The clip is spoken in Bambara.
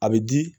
A bɛ di